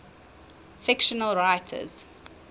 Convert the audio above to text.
fictional writers